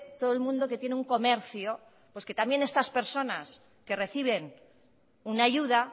todo el mundo que tiene un comercio pues que también estas personas que reciben una ayuda